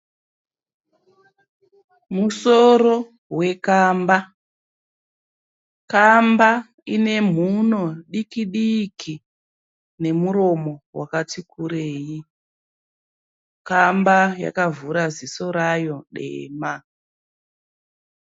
Musoro wekamba. Kamba ine mhuno diki diki nemuromo wakati kurei. Kamba yakavhura ziso rayo dema.